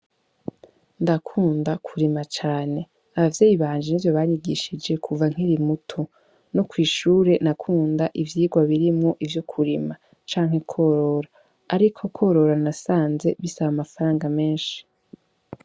Ndakunda kurima cane, abavyeyi banje ni ivyo banyigishije kuva nkiri muto. No kw'ishure nakunda ivyigwa birimwo ivyo kurima canke kworora, ariko kworora nasanze bisaba amafaranga menshi.